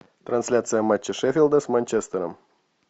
трансляция матча шеффилда с манчестером